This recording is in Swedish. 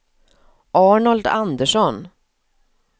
Arnold Andersson